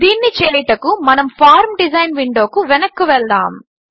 దీనిని చేయుటకు మనము ఫార్మ్ డిజైన్ విండోకు వెనక్కు వెళ్దాము